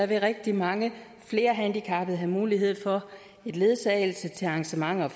vil rigtig mange flere handicappede have mulighed for en ledsagelse til arrangementer og